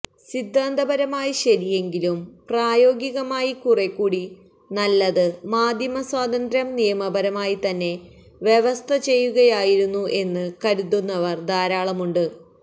സിദ്ധാന്തപരമായി ശരിയെങ്കിലും പ്രായോഗികമായി കുറെകൂടി നല്ലത് മാധ്യമസ്വാതന്ത്ര്യം നിയമപരമായി തന്നെ വ്യവസ്ഥചെയ്യുകയായിരുന്നു എന്ന് കരുതുന്നവര് ധാരാളമുണ്ട്